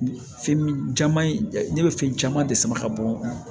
Fɛn min caman ye ne bɛ fɛn caman de sama ka bɔ